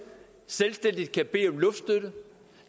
selvstændigt kan bede om luftstøtte